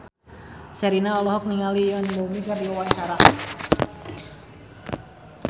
Sherina olohok ningali Yoon Bomi keur diwawancara